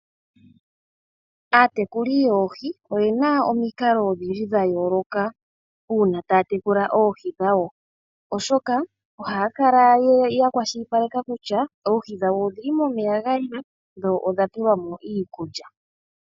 Aatekuli yoohi oyena omikalo odhindji dha yooloka uuna taya tekula oohi dhawo, oshoka ohaya kala ya kwashilipaleka kutya oohi dhawo odhili momeya ga yela dho odha pelwa mo iikulya.